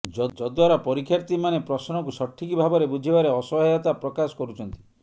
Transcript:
ଯଦ୍ଦ୍ୱାରା ପରୀକ୍ଷାର୍ଥୀମାନେ ପ୍ରଶ୍ନକୁ ସଠିକ ଭାବରେ ବୁଝିବାରେ ଅସହାୟତା ପ୍ରକାଶ କରୁଛନ୍ତି